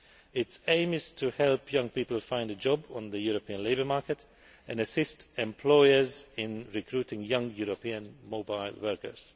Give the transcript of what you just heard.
Its aim is to help young people find a job on the European labour market and assist employers in recruiting young European mobile workers.